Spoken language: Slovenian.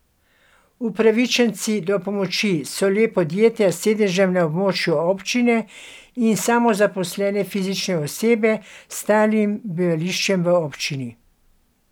Upravičenci do pomoči so le podjetja s sedežem na območju občine in samozaposlene fizične osebe s stalnim bivališčem v občini.